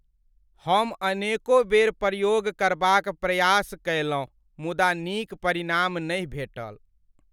हम अनेकों बेर प्रयोग करबाक प्रयास कयलहुँ मुदा नीक परिणाम नहि भेटल।